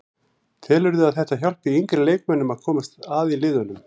Telurðu að þetta hjálpi yngri leikmönnum að komast að í liðunum?